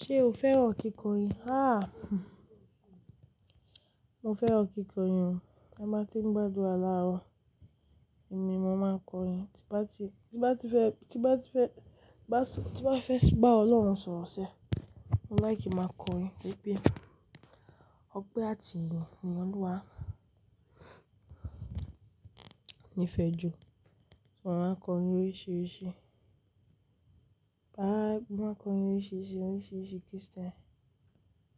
Ṣé o fẹ́ràn kíkọrin? Haaa, mo fẹ́ràn kíkọrin o. Bí mo bá tí ń gbádura laarọ̀, èmi mo máa ń kọrin. Tí bá ti, tí bá ti fẹ́, tí bá ti fẹ́, bá ti, tí bá fẹ́ bá Ọlọ́run sọ̀rọ̀ sẹ́, mo láì kí máa kọrin wípé ọpẹ́ àti ìyì ni Ọluwa ní'fẹjù. Mo máa ń kọrin oríṣìíríṣìí. Bá máa kọrin oríṣìíríṣìí, oríṣìíríṣìí Christian.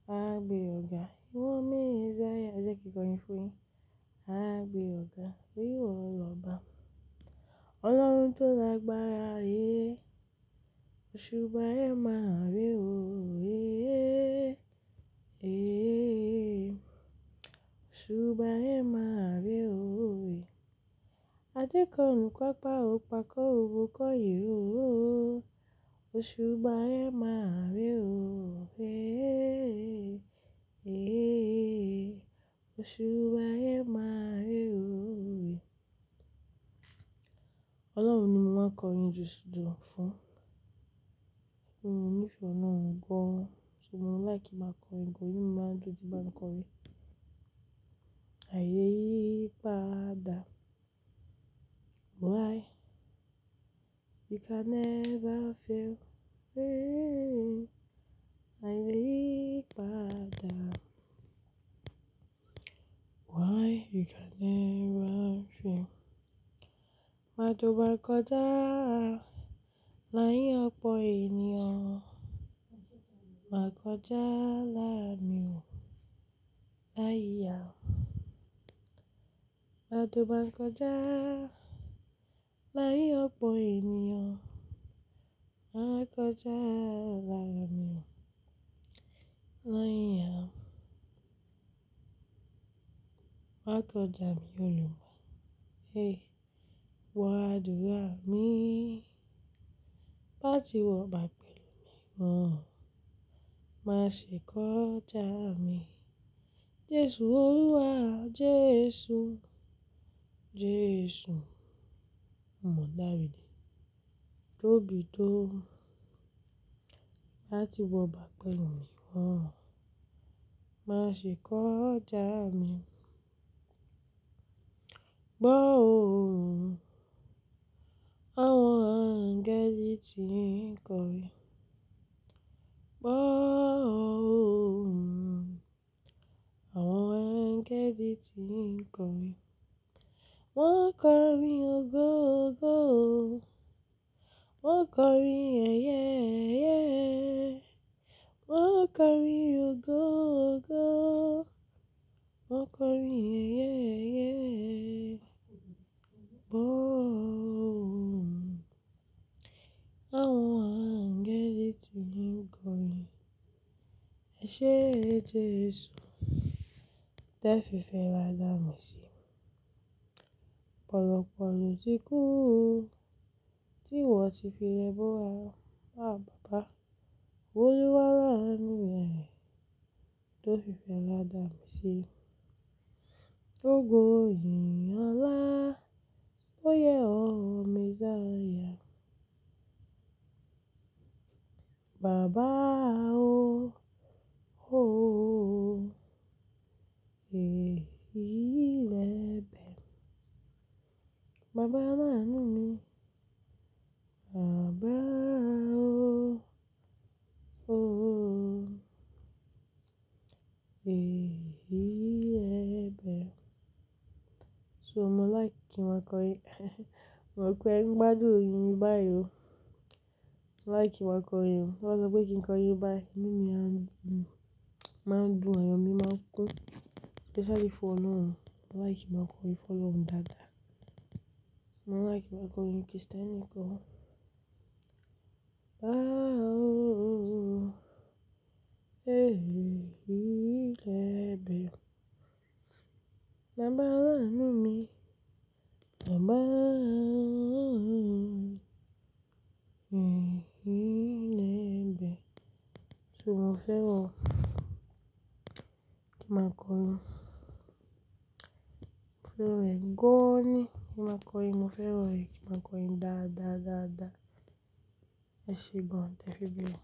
A gbe ọ̀ga, ìwọ ni messiah. Ẹ jẹ́ kí kọrin fún yin A gbe ọ̀ga, íwọ lọ́ba. Ọlọ́run tó la gbára, eh. Oṣubà ẹ máa re oo, eh, eh, eh. Oṣubà ẹ máa re o, eh. A jẹ́ kọ́run, kópa o, kópa kóro ko yi o. Oṣubà ẹ máa rí o, eh, eh, eh. Oṣubà ẹ máa rí o, eh. Ọlọ́run ni mo máa ń kọrin jù jù fún. Níbo ní'fẹ́ ọ̀na gbo, ṣùgbọ́n mo láì kí máa kọrin, gàn inù mi máa ń dùn, tí bá ń kọrin. Àì le yí padà. Why? You can never fail, eh. Àì le yí padà. Why? You can never fail. Ma dùn báa kọjá, l'áyín ọ̀pọ̀ ènìyàn. Ma kọjá láàárin o, l'áyí á. Ma dùn báa kọjá, l'áyín ọ̀pọ̀ ènìyàn. Ma kọjá láàárin o, l'áyín á. Ma kọjá mi Olùgbálà, eh. Wọ àdúrà mi. Bá ti wọ bà pẹ̀lú mi mọ, má ṣe kó já mi. Jésù Olúwa, Jésù, Jésù. Mò dárí dí, tóbi tó. Bá ti wọ bà pẹ̀lú mi mọ, má ṣe kó já mi. Gbó o, àwọn angẹ́lì ti ń kọrin. Gbó o, àwọn angẹ́lì ti ń kọrin. Wọ́n ń kọrin ògoògo o. Wọ́n ń kọrin ẹyẹẹ́yẹ́. Wọ́n ń kọrin ògoògo o. Wọ́n ń kọrin ẹyẹẹ́yẹ́. Gbó o, àwọn angẹ́lì ti ń kọrin. Ẹ ṣé, Jésù, tẹ fi fẹ́ra dá mi sí. Pọ̀lọ̀pọ̀ lọ̀ ti kú o. Tí ìwọ ti fi lẹ búra, àh bàbá. Olúwa láànú rẹ̀, tó lúgbàlá dá mi sí. Ògo yìnyàn ńlá, tó yẹ ọ́ Messiah. Baba o, o. Eh, ilẹ̀ bẹ̀. Baba aláàánú mi. Baba o, o. Eh, ilẹ̀ bẹ̀. So mo láì kí máa kọrin. Mo rò pé ń gbádùn oyin mi báyìí o. Mo láì kí máa kọrin o. Mo rò pé kí ń kọrin báyìí. Inù mi máa ń dùn, àyọ́ mi máa ń kún. Especially fún Ọlọ́run. Mo láì kí máa kọrin fún Ọlọ́run dáadáa. Mo láì kí máa kọrin Christian nìkan o. Baba o, o. Eh, ilẹ̀ bẹ̀. Baba aláàánú mi. Baba o, o. Eh, ilẹ̀ bẹ̀. So mo fẹ́ràn kí n máa kọrin. Mo fẹ́ràn rẹ̀. Gán ni kí n máa kọrin. Mo fẹ́ràn rẹ̀ kí n máa kọrin dáadáa, dáadáa. Ẹ ṣe gán, tè ẹ fi bẹ̀.